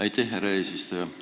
Aitäh, härra eesistuja!